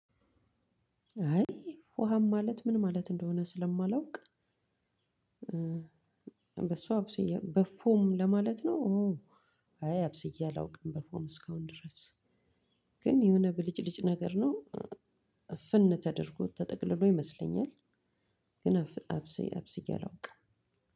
አይ ፎሃም ማለት ምን ማለት እንደሆነ ስለማላውቅ በሷ አብስዬ በፎም ለማለት ነው። አይ አብስየ አላቅም በፉምእስካሁን ድረስ። ግን የሆነ ብልጭልጭ ነገር ነው እፍን ተደርጎ ተጠቅልሎ ይመስለኛል። ግን አብስዬ አብስዬ አላውቅም።